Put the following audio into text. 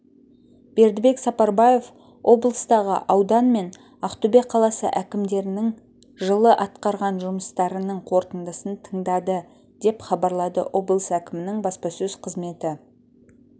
бердібек сапарбаев облыстағы аудан мен ақтөбе қаласы әкімдерінің жылы атқарған жұмыстарының қорытындысын тыңдады деп хабарлады облыс әкімінің баспасөз қызметі